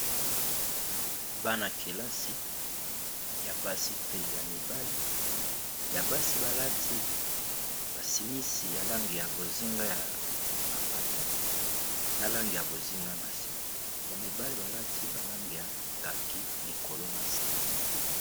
Bana ya kelasi ya basi mpe ya mibale ya basi balati basimisiyalangeya bozinga ya mapata nalange ya bozinga na se ya mibale balati balangakaki likolo na se.